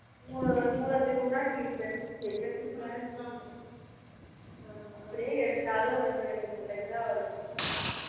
ஹம் மூல திரும்புனாலும் tuition எங்க திரும்புனாலும் tuition அப்படியே எடுத்தாலும் ஒண்ணு இரண்டு பிள்ளைங்கதான் வரும்